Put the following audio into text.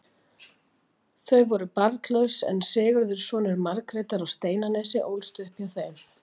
Þau voru barnlaus, en Sigurður, sonur Margrétar á Steinanesi, ólst upp hjá þeim.